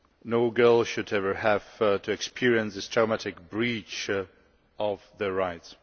No girl should ever have to experience this traumatic breach of her rights.